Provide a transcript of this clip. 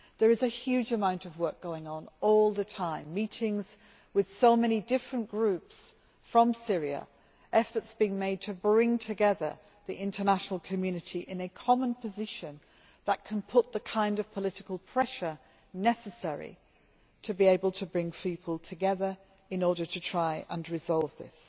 There is a huge amount of work going on all the time meetings with so many different groups from Syria, efforts being made to bring together the international community in a common position that can exert the kind of political pressure necessary to be able to bring people together in order to try and resolve this.